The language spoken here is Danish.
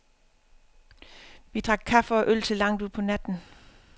Vi drak kaffe og øl til langt ud på natten.